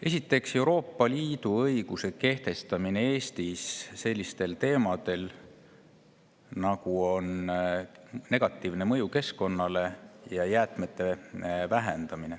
Esiteks, Euroopa Liidu õiguse kehtestamine Eestis vähendada jäätmeid ja nende negatiivset mõju keskkonnale.